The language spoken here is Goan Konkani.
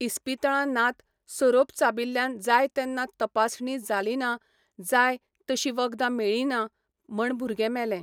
इस्पितळां नात सोरोप चाबिल्ल्यान जाय तेन्ना तपासणी जाली ना जाय तशी वखदां मेळ्ळीं ना म्हण भुरगें मेले